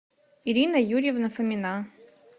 ирина юрьевна фомина